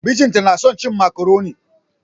Mijin ta yana son cin macaroni.